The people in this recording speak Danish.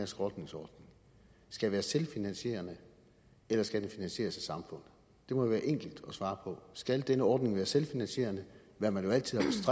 skrotningsordning skal være selvfinansierende eller skal den finansieres af samfundet det må være enkelt at svare på skal denne ordning være selvfinansierende hvad man jo altid